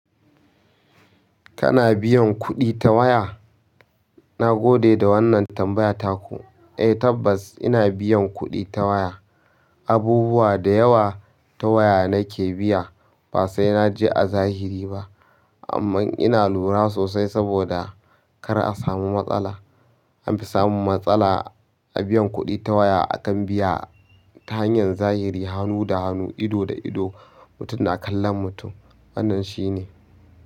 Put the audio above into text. Kana biyan kuɗi ta waya? Na gode da wannan tambaya taku. Eh tabbas ina biyan kuɗi ta waya. Abubuwa dayawa ta waya nake biya basai naje a zahiri ba amma ina lura sosai saboda kar a samu matsala. An fi samun matsala a biyan kuɗi ta waya akan biya ta hanyar zahiri hannu da hannu, ido da ido, mutum na kallon mutum. Wannan shine.